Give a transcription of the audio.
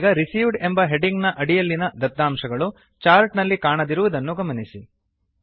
ಇದೀಗ ರಿಸೀವ್ಡ್ ಎಂಬ ಹೆಡ್ಡಿಂಗ್ ನ ಅಡಿಯಲ್ಲಿನ ದತಾಂಶಗಳು ಚಾರ್ಟ್ ನಲ್ಲಿ ಕಾಣದಿರುವುದನ್ನು ಗಮನಿಸಿ